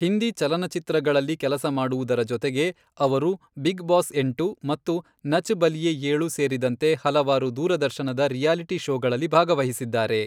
ಹಿಂದಿ ಚಲನಚಿತ್ರಗಳಲ್ಲಿ ಕೆಲಸ ಮಾಡುವುದರ ಜೊತೆಗೆ, ಅವರು ಬಿಗ್ ಬಾಸ್ ಎಂಟು ಮತ್ತು ನಚ್ ಬಲಿಯೆ ಏಳು ಸೇರಿದಂತೆ ಹಲವಾರು ದೂರದರ್ಶನದ ರಿಯಾಲಿಟಿ ಷೋಗಳಲ್ಲಿ ಭಾಗವಹಿಸಿದ್ದಾರೆ.